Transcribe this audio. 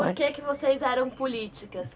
Por que que vocês eram políticas?